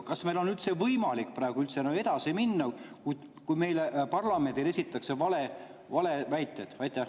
Kas meil on üldse võimalik praegu enam edasi minna, kui meile, parlamendile esitatakse valeväiteid?